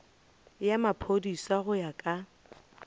ya maphodisa go ya ka